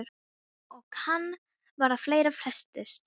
Og kann vera að fleira fréttist.